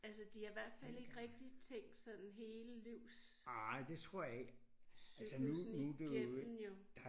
Altså de har hvert fald ikke rigtig tænkt sådan hele livscyklussen igennem jo